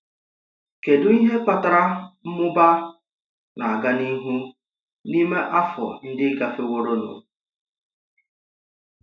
Kedu ihe kpatara mmụba na-aga n’ihu n’ime afọ́ ndị gafeworonụ?